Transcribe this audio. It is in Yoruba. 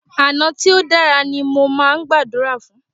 Àná tí o dára ní mó máà ń gbàdúrà fún.